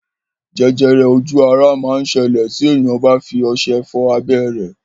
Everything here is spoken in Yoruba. Jẹjẹrẹ ojú ara máa ń ṣẹlẹ̀ tí èèyàn bá fi ọṣẹ fọ abẹ́ rẹ̀